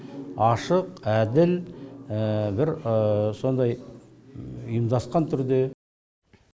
ашық әділ бір сондай ұйымдасқан түрде